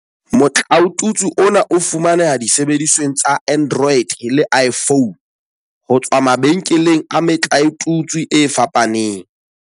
Motlaotutswe ona o fumaneha disebedisweng tsa Android le iPhone, ho tswa mabenkeleng a metlaotutswe a fapaneng.